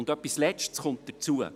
Etwas Letztes kommt hinzu: